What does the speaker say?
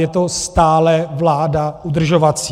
Je to stále vláda udržovací.